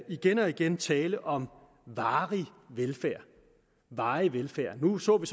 igen og igen tale om varig velfærd varig velfærd nu så vi